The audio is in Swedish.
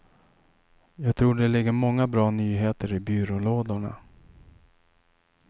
Jag tror det ligger många bra nyheter i byrålådorna.